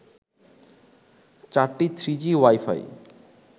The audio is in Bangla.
চারটি থ্রিজি ওয়াই-ফাই